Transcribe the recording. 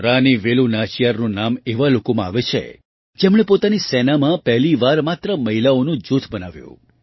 રાની વેલુ નાચિયારનું નામ એવા લોકોમાં આવે છે જેમણે પોતાની સેનામાં પહેલી વાર માત્ર મહિલાઓનું જૂથ બનાવ્યું